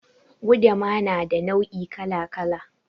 Gudama na da nau'ika kala kala.